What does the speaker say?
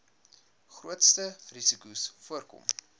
grootste risikos voorkom